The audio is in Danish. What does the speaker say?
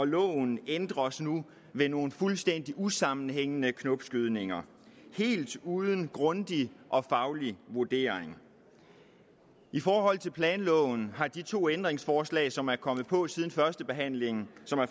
loven ændres nu ved nogle fuldstændig usammenhængende knopskydninger helt uden grundig og faglig vurdering i forhold til planloven har de to ændringsforslag som er kommet på siden førstebehandlingen